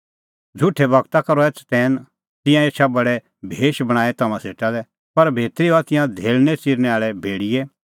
झ़ुठै गूरा का रहै चतैन तिंयां एछा भेडे भेश बणांईं तम्हां सेटा लै पर भितरी हआ तिंयां धेल़णै च़िरनैं आल़ै भेड़ियै